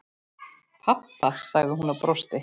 Pabba? sagði hún og brosti.